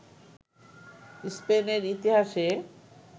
স্পেনের ইতিহাসে